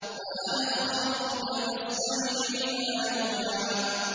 وَأَنَا اخْتَرْتُكَ فَاسْتَمِعْ لِمَا يُوحَىٰ